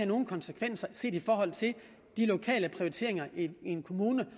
nogen konsekvenser set i forhold til de lokale prioriteringer i en kommune